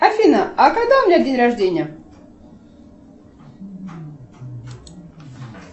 афина а когда у меня день рождения